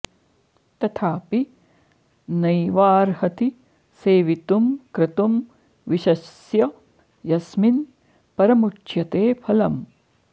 तथापि नैवार्हति सेवितुं क्रतुं विशस्य यस्मिन् परमुच्यते फलम्